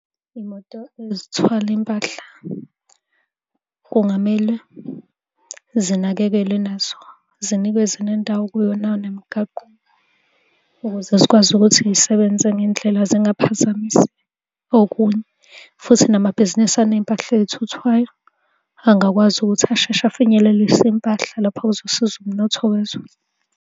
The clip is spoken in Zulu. Iy'moto ezithwala impahla kungamele zinakekelwe nazo, zinikezwe nendawo kuyona nemigaqo ukuze zikwazi ukuthi iy'sebenze ngendlela zingaphazamisi okunye, futhi namabhizinisi aney'mpahla ey'thuthwayo angakwazi ukuthi asheshe afinyelelise impahla lapho kuzosiza umnotho wezwe.